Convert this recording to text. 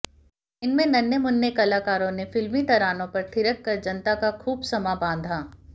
इनमें नन्हे मुन्ने कलाकारों ने फिल्मी तरानों पर थिरक कर जनता का खूब समां बांधा